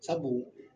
Sabu